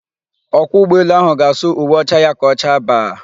Ọkwọ ụgbọelu áhụ̀ ga-asụ uwe ọcha ya ka ọ chaa baa.